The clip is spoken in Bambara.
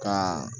Ka